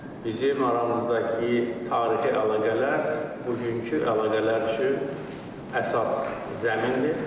Bizim aramızdakı tarixi əlaqələr bugünkü əlaqələr üçün əsas zəmindir.